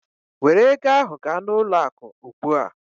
Were ego ahụ gaa n'ụlọ akụ ugbu a!